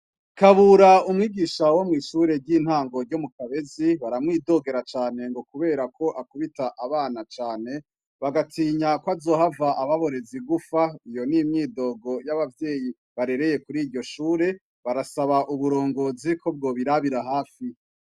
Kabura umwigisha wo mw'ishure ry'intango ryo mu kabezi baramwidogera cane ngo, kubera ko akubita abana cane bagatinya ko azohava ababorezi gufa iyo n'imyidogo y'abavyeyi barereye kuri iryo shure barasaba uburongozi ko bwo birabira hafi.